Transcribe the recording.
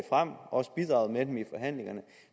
frem og også bidraget med dem i forhandlingerne